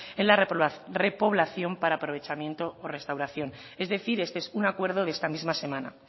en la repoblación para aprovechamiento o restauración es decir este es un acuerdo de esta misma semana